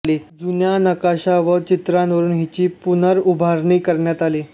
जुन्या नकाशा व चित्रांवरून हिची पुनर्उभारणी करण्यात आली